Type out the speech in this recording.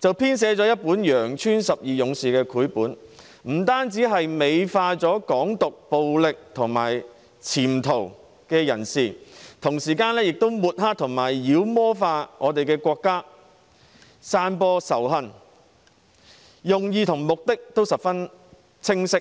編寫了一本《羊村十二勇士》的繪本，不但美化"港獨"、暴力和潛逃的人士，同時亦抹黑和妖魔化我們的國家，散播仇恨，用意和目的都十分清晰。